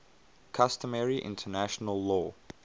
customary international law